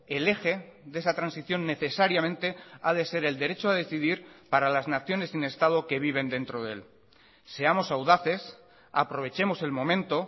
el eje de esa transición necesariamente ha de ser el derecho a decidir para las naciones sin estado que viven dentro de él seamos audaces aprovechemos el momento